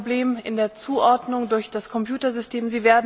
Es war ein Problem in der Zuordnung durch das Computersystem.